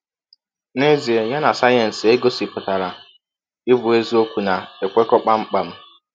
N’ezie, ya na sayensị e gọsipụtara ịbụ eziọkwu na - ekwekọ kpam kpam.